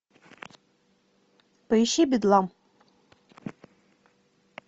поищи бедлам